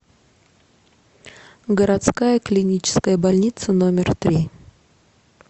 городская клиническая больница номер три